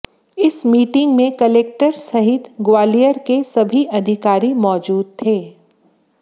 इस मीटिंग में कलेक्टर सहित ग्वालियर के सभी अधिकारी मौजदू थे